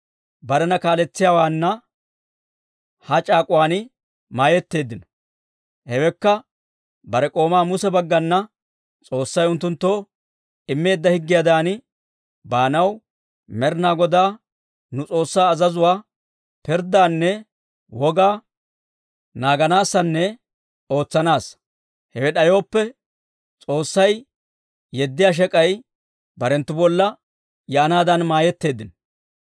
barena kaaletsiyaawaana ha c'aak'uwaan mayetteeddino. Hewekka bare k'oomaa Muse baggana S'oossay unttunttoo immeedda higgiyaadan baanaw, Med'inaa Godaa nu S'oossaa azazuwaa, pirddaanne wogaa naaganaassanne ootsanaassa. Hewe d'ayooppe, S'oossay yeddiyaa shek'ay barenttu bolla yaanaadan mayetteeddino.